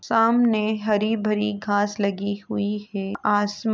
सामने हरी भरी घास लगी हुई है। आसमान --